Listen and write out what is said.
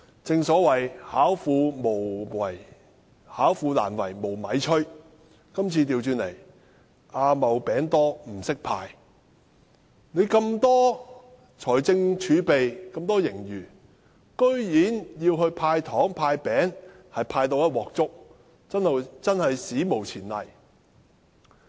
正所謂"巧婦難為無米炊"，但今次卻倒過來，是"阿茂餅多不識派"，有巨額財政儲備和盈餘，居然"派糖"、"派餅"也一塌糊塗，真是史無前例。